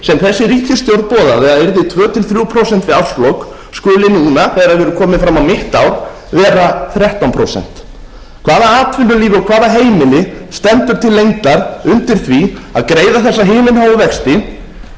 þessi ríkisstjórn boðaði að yrðu tvö til þrjú prósent við árslok skuli núna þegar við erum komin fram á mitt ár vera þrettán prósent hvaða atvinnulíf og hvaða heimili stendur til lengdar undir því að greiða þessa himinháu vexti kannski aðallega sú